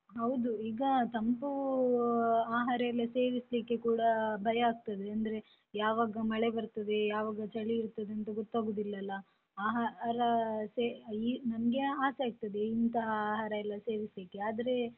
ಹೌದು ಈಗ ತಂಪು ಆಹಾರ ಎಲ್ಲ ಸೇವಿಸ್ಲಿಕ್ಕೆ ಕೂಡ ಭಯಾಗ್ತದೆ, ಅಂದ್ರೆ ಯಾವಾಗ ಮಳೆ ಬರ್ತದೆ, ಯಾವಾಗ ಚಳಿ ಇರ್ತದಂತ ಗೊತ್ತಾಗುದಿಲ್ಲಲ, ಆಹಾರ ನನ್ಗೆ ಆಸೆ ಆಗ್ತದೆ ಇಂತಹ ಆಹಾರ ಸೇವಿಸ್ಲಿಕ್ಕೆ ಆದ್ರೆ.